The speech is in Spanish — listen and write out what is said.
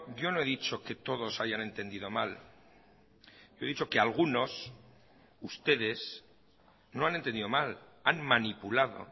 yo no he dicho que todos hayan entendido mal yo he dicho que algunos ustedes no han entendido mal han manipulado